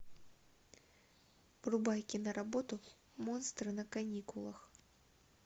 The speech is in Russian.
врубай киноработу монстры на каникулах